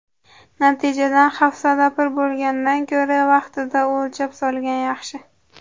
Natijadan hafsala pir bo‘lgandan ko‘ra, vaqtida o‘lchab solgan yaxshi.